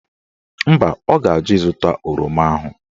Mba, ọ ga-ajụ ịzụta oroma ahụ.